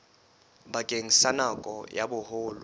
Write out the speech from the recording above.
bakeng sa nako ya boholo